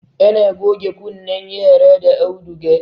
ana goge kunnen yara da auduga